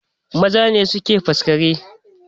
Maza ne suke faskare